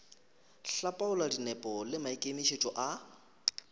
hlapaola dinepo le maikemišetšo a